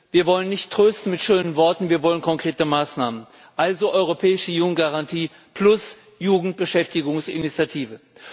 Wir wollen nicht mit schönen Worten trösten, wir wollen konkrete Maßnahmen, also europäische Jugendgarantie plus Jugendbeschäftigungsinitiative.